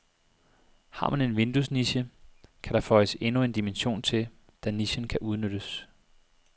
Har man en vinduesniche, kan der føjes endnu en dimension til, da nichen kan udnyttes.